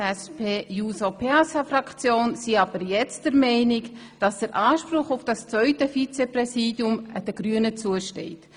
Die SP-JUSO-PSA-Fraktion ist aber der Meinung, der Anspruch auf das zweite Vizepräsidium stehe jetzt den Grünen zu.